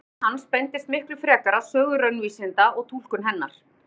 Áhugi hans beindist miklu fremur að sögu raunvísinda og túlkun hennar.